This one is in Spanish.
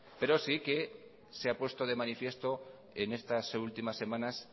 pero sí que se ha puesto de manifiesto en estas últimas semanas